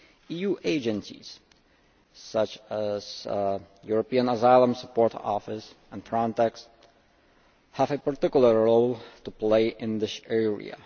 EU agencies, such as the European Asylum Support Office and Frontex, have a particular role to play in this area.